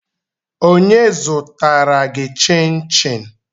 Onye zụtara gị chinchin?